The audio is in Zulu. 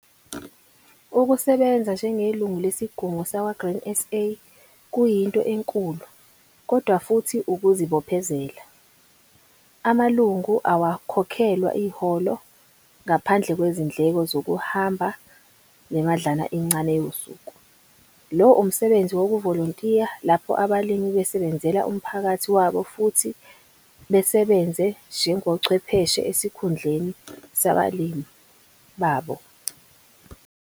Ukusebenza njengelungu lesiGungu sakwa-Grain SA kuyinto enkulu, kodwa futhi ukuzibophezela. Amalungu awakhokhelwa iholo, ngaphandle kwezindleko zokuhamba nemadlana encane yosuku. Lo umsebenzi wokuVOLONTIYA lapho abalimi beSEBENZELA umphakathi wabo futhi basebenze njengoCHWEPHESHE esikhundleni sabalimi babo.